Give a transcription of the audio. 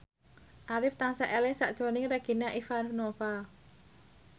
Arif tansah eling sakjroning Regina Ivanova